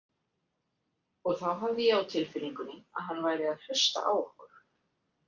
Og þá hafði ég á tilfinningunni að hann væri að hlusta á okkur.